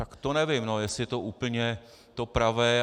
Tak to nevím, jestli to je úplně to pravé.